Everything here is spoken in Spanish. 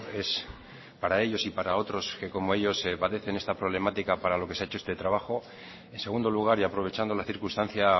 es para ellos y para otros que como ellos padecen esta problemática para lo que se ha hecho este trabajo en segundo lugar y aprovechando la circunstancia